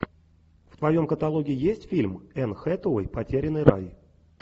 в твоем каталоге есть фильм энн хэтэуэй потерянный рай